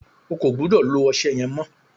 O kò gbúdọ̀ lo ọṣẹ yẹn mọ́!